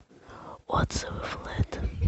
отзывы флэт